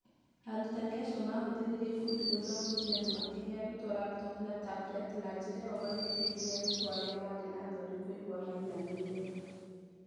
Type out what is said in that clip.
Arutani acio maahũthĩrire ikundi gũthomothia na makĩhe arutwo laptopu na tableti, na njĩra ĩyo magĩteithia arutwo arĩa maarĩ na thoni kũigua maiganĩire